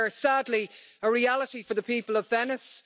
They are sadly a reality for the people of Venice